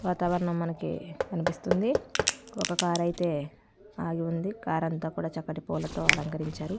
వాతావరణం మనకి కనిపిస్తుంది ఒక కార్ ఐతే ఆగివుంది కార్ అంత చక్కటి పూలతో అలంకరించారు.